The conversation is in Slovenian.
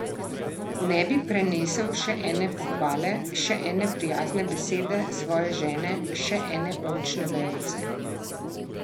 Ne bi prenesel še ene pohvale, še ene prijazne besede svoje žene, še ene oljčne vejice.